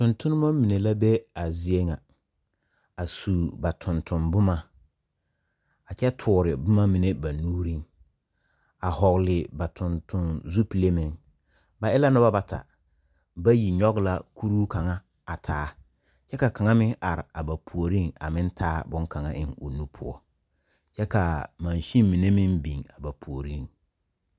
Tontonema mine la be a zie ŋa a sub a tontomboma a kyɛ tore boma mine ba nuuriŋ a hɔgele ba tontoŋ zupile meŋ. Ba e la noba bata, bayi nyɔge la kuruu kaŋa a taa kyɛka kaŋa meŋ are a ba puoriŋ a meŋ taa bone kaŋa ea o nu poɔ, kyɛ ka masiŋ mine meŋ biŋa ba puoriŋ.